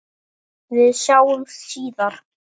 Við sjáumst síðar.